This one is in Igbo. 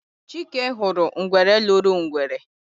Chike huru ngwere loro ngwere.